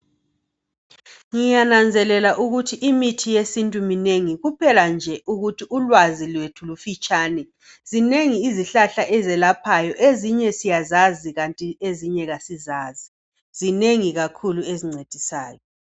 Ngiyananzelela ukuthi imithi yesintu minengi kuphela nje ukuthi ulwaazi lwethu lufitshane. Zinengi izihlahla ezelaphayo ezinye siyazazi kanti ezinye asisazi zinengi kakhulu ezincedisayo.